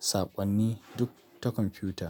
saƙonni duk ta kwamfuta.